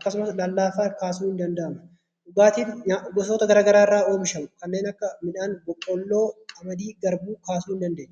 akkasumas lallaafaa kaasuun ni danda'ama dhugaatii gosoota garagaraarraa oomishamaa kanneen akka midhaan boqqoolloo , qamadii garbuu kaasuu ni dadeenya